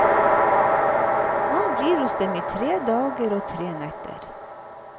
Han blir hos dem i tre dager og tre netter.